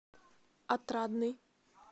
отрадный